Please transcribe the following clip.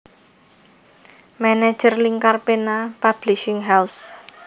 Manajer Lingkar Pena Publishing House